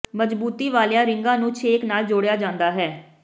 ਮਜ਼ਬੂਤੀ ਵਾਲੀਆਂ ਰਿੰਗਾਂ ਨੂੰ ਛੇਕ ਨਾਲ ਜੋੜਿਆ ਜਾਂਦਾ ਹੈ